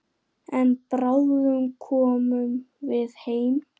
En bráðum komum við heim.